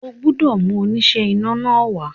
O gbọ́dọ̀ mú oníṣẹ́ iná náà wá